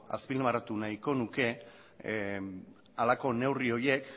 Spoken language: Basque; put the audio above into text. azpimarratu nahiko nuke halako neurri horiek